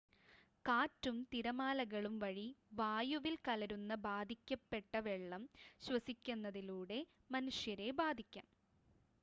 കാറ്റും തിരമാലകളും വഴി വായുവിൽ കലരുന്ന ബാധിക്കപ്പെട്ട വെള്ളം ശ്വസിക്കുന്നതിലൂടെ മനുഷ്യരെ ബാധിക്കാം